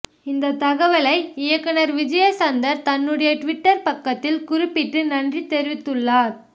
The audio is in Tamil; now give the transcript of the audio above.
இந்த தகவலை இயக்குனர் விஜயசந்தர் தன்னுடைய ட்விட்டர் பக்கத்தில் குறிப்பிட்டு நன்றி தெரிவித்துள்ளார்